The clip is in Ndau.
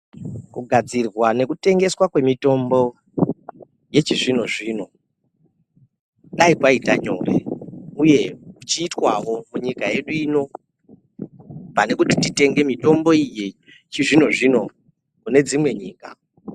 Kugadzirwa nekutengeswa kwemitombo yechizvino zvino dai kwaiya nyore uye kuchiitwa wo munyika yedu ino. Pane kuti titenge mitombo iyi yechizvino zvino kune dzimwe nyika.